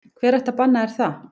Hver ætti að banna þér það?